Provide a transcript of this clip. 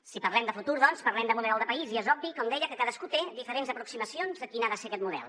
si parlem de futur doncs parlem de model de país i és obvi com deia que cadascú té diferents aproximacions de quin ha de ser aquest model